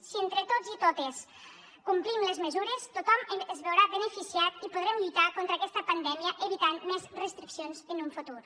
si entre tots i totes complim les mesures tothom es veurà beneficiat i podrem lluitar contra aquesta pandèmia evitant més restriccions en un futur